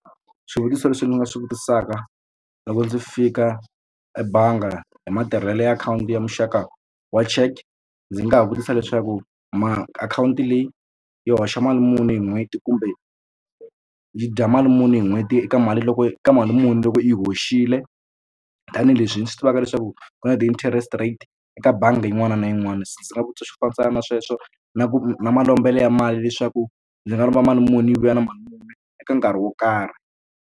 Swivutiso leswi ndzi nga swi vutisaka loko ndzi fika ebangi hi matirhelo ya akhawunti ya muxaka wa cheque ndzi nga ha vutisa leswaku akhawunti leyi yi hoxa mali muni hi n'hweti kumbe yi dya mali muni hi n'hweti eka mali loko ka mali muni loko yi hoxile tanihileswi ndzi swi tivaka leswaku ku na ti-interest rate eka bangi yin'wana na yin'wana se ndzi nga vutisa xo fambisana na sweswo na ku na malombelo ya mali leswaku ndzi nga lomba mali muni yi vuya na mali muni eka nkarhi wo karhi.